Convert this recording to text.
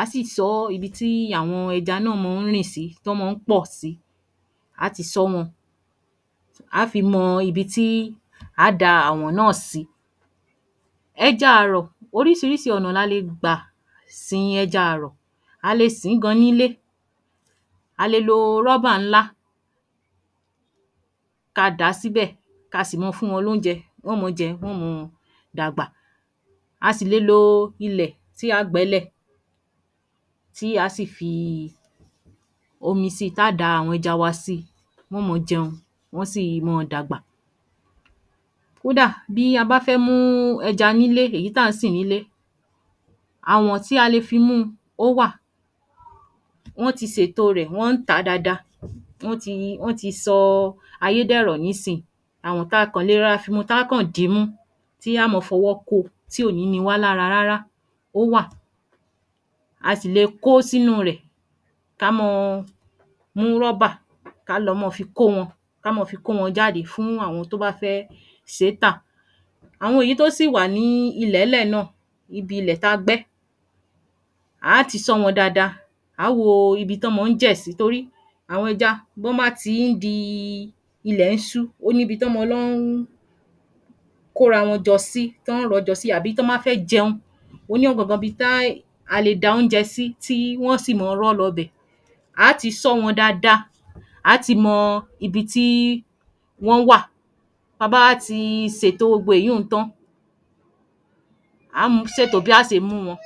á síì sọ́ íbi tí àwọn ẹja náà mọ́ n rìn sí, tán mọ ń pọ̀ sí, a á ti ṣọ́ wọ́n, a á fi mọ ibi tí á da àwọ̀n náà sí. Ẹja àrọ̀, orísirísi ọ̀nà la lè gbà sín ẹja àrọ̀, a le sín gan Nílé, a le lo ńlá ká dàá síbẹ̀, ká sì mọ fún wọn lóunjẹ, wọ́n mọ jẹ, wọ́n mọ mu dàgbà. Á à sì le ló ilẹ̀, tí a á gbẹ́ ílẹ̀ tí a sì fi omi sí ta á da àwọn ẹja wa sí, wọ́n mọ jẹun, wọ́n sìi mọ́ dàgbà. Kódà, bí abá fẹ́ múu ẹja nílé, èyí tàa sìn nílé àwọ̀n tí a le fi mú, ó wá wọ́n ti ṣètò rẹ̀, wọ́n ǹ tá dáadáa, wọ́n ti i wọ́n ti ṣọ ọ ayé dẹ̀rọ̀ nísìn. Àwọ̀n tà kàn le rọ ra fímú tá kàn dimú, ti á mọ fọwọ́ kó, tí ò ní niwá lára rárá ó wà. A sì le kó sínu rẹ̀ ká mọ ọ mú ká lọ mọ fi kó wọ́n, ká mọ fi kó wọ́n jáde fún àwọn tó bá fẹ́ ṣé é tà. Àwọn èyí tó sì wà nì ilé lẹ̀ náà, ibi ilẹ̀ ta gbẹ́, a á ti ṣọ́ wọ́n dáadáa, a á wo o ibi tán mọ ń jè sí torí àwọn ẹja wọ́n má ti ń dí í ilẹ̀ ṣú, ó ní ibi tán mọ́ lọ ń kóra wọn jọ sí tan rọ́jọ síi àbí tán bá fẹ́ jẹun, ó ní ọ̀gàngán ibi ta a lè dà oúnjẹ sí, tí wọn sì mọ rọ́ lọ bẹ̀. A á ti ṣọ́ wọn dáadáa, a á ti mọ ibi tí wọ́n wà, ba bá a tí ṣètò gbogbo èyun tán a á ṣètò bá ṣe mú wọn um.